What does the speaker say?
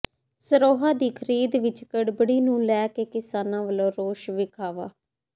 ਸਰੋ੍ਹਾ ਦੀ ਖ਼ਰੀਦ ਵਿਚ ਗੜਬੜੀ ਨੂੰ ਲੈ ਕੇ ਕਿਸਾਨਾਂ ਵਲੋਂ ਰੋਸ ਵਿਖਾਵਾ